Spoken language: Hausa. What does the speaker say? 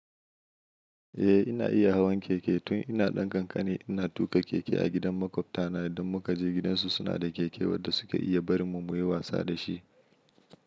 Eh ina iya hawan keke tun ina ɗan kankani. Ina tuƙa keke a gidan maƙwabtana idan muka je gidansu. Suna da keke wadda suka iya barin mu mu yi wasa da shi.